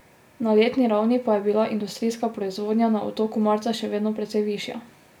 Na letni ravni pa je bila industrijska proizvodnja na Otoku marca še vedno precej višja.